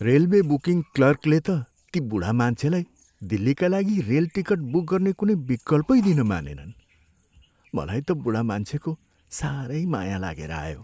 Railway booking क्लर्कले त ती बुढा मान्छेलाई दिल्लीका लागि रेल टिकट बुक गर्ने कुनै विकल्पै दिन मानेनन्। मलाई त बुढा मान्छेको साह्रै माया लागेर आयो।